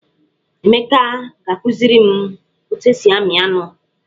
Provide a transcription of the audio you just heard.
Emeka ga-akụziri m otu esi amị anụ.